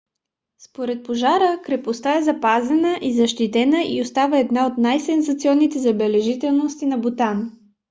след пожара крепостта е запазена и защитена и остава една от най-сензационните забележителности на бутан